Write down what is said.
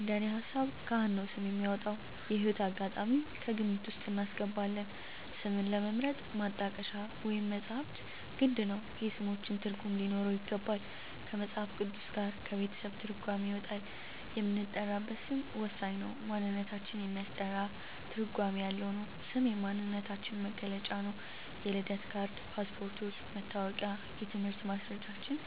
እንደኔ ሀሳብ ካህን ነው ስም የሚያወጣው። የህይወት አጋጣሚም ከግምት ውስጥ እናስገባለን ስምን ለመምረጥ ማጣቀሻ ወይም መፅሀፍት ግድ ነው የስሞችን ትርጉም ሊኖረው ይገባል ከመፅሀፍ ቅዱስ ጋር ከቤተሰብ ትርጓሜ ይወጣል የምንጠራበት ስም ወሳኝ ነው ማንነታችን የሚያስጠራ ትርጓሜ ያለው ነው ስም የማንነታችን መግለጫ ነው የልደት ካርድ ,ፓስፓርቶች ,መታወቂያ የትምህርት ማስረጃችን